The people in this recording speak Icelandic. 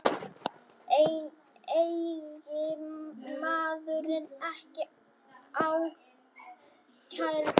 Eiginmaðurinn ekki ákærður